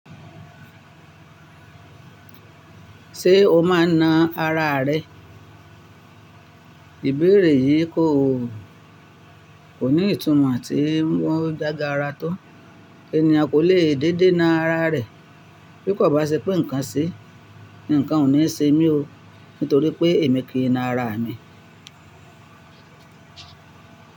Ṣé o má a na ara rẹ? Ìbéèrè yìí kò, kò ní ìtumọ̀ ti o jágara tó. Ènìyàn kò lè dédé na ara rẹ̀, bí kò bá ṣe pé nǹkan ṣe. Nǹkan ò ní ṣe mí o, nítorí pé èmi kì í na ara mi.